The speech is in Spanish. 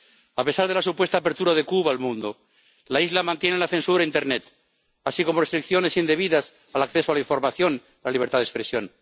A pesar de la supuesta apertura de Cuba al mundo, la isla mantiene la censura en internet, así como restricciones indebidas al acceso a la información y a la libertad de expresión.